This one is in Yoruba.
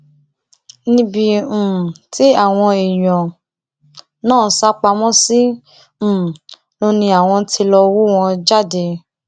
níbi um tí àwọn èèyàn náà sá pamọ sí um ló ní àwọn tí lọọ hú wọn jáde